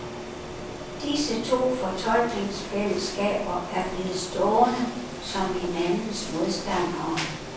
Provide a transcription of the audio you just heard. Disse to fortolkningsfællesskaber er blevet stående som hinandens modstandere.